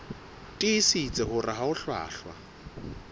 tiisitse hore ha ho hlwahlwa